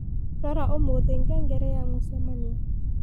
rora umuthi ngengere ya mucemanio